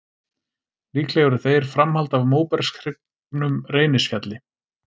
Líklega eru þeir framhald af móbergshryggnum Reynisfjalli.